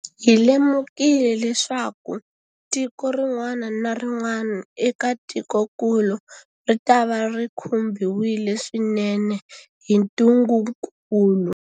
Hi lemukile leswaku tiko rin'wana na rin'wana eka tikokulu ritava ri khumbiwile swinene hi ntungukulu.